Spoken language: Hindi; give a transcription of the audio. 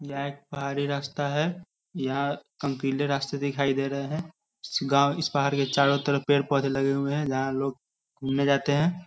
यहाँ एक पहाड़ी रास्ता है यहाँ कम्पिले रास्ते दिखाई दे रहे है इस गाँव इस पहाड़ के चारो तरफ पेड़-पौधे लगे हुए है यहाँ लोग घूमने जाते है|